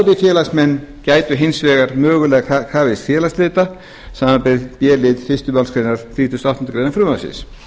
aðrir félagsmenn gætu hins vegar mögulega krafist félagsslita samanber b lið fyrstu málsgrein þrítugustu og áttundu greinar frumvarpsins